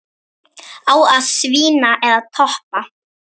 Á að svína eða toppa?